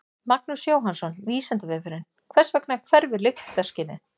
Magnús Jóhannsson: Vísindavefurinn: Hvers vegna hverfur lyktarskynið?